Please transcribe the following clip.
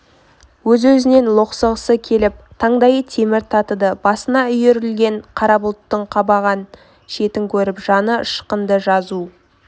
өз-өзінен лоқсығысы келіп таңдайы темір татыды басына үйірілген қара бұлттың қабарған шетін көріп жаны ышқынды жазу